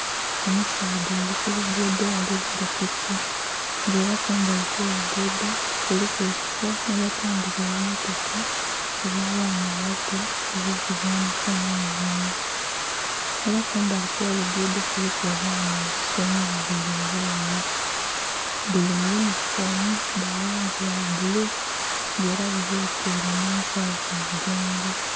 Omusaadha ali kulugudo ali vuga piki nga era kumbali okwolugudho kuliku ekifo gheba tundhila obummotoka obwa baana abato obwo kuzanhisa nhe nhonhi era kumbali okwolugudho kuliku obwaana obusomi bubili obu ghala buli mu yundhi fomu dha langi ya bululu nga era bubekele nhe nsagho ku mugongo.